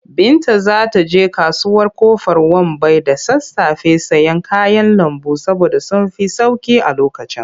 Binta za ta je kasuwar Ƙofar Wambai da sassafe sayen kayan lambu saboda sun fi sauƙi a lokacin.